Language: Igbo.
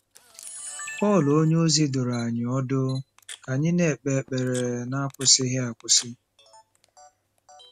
Pọl onyeozi dụrụ anyị ọdụ ka anyị ‘na-ekpe ekpere n’akwụsịghị akwụsị.